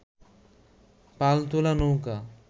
পাল তোলা নৌকো